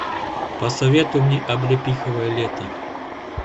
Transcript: посоветуй мне облепиховое лето